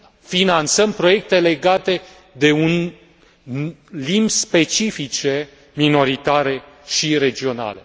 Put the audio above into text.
finanțăm proiecte legate de limbi specifice minoritare și regionale.